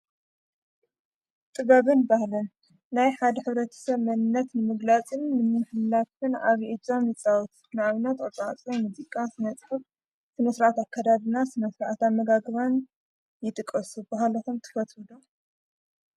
ጥበብን ባህልን ናይ ሓድ ኅረብረተሰብ መንነት ንምግላፅን ንምምሕላፍን ዓበይ እጃም ይፃወት። ንኣብነትቅርፃ ቅርጺ፣ ሙዚቃ፣ ስነ ጥበብ ስነ ስርዓት ኣካዳድና፣ ስነ ስርዓት ኣመጋግባን ይጥቀሱ። ባህልኩም ትፈትዉ ዶ?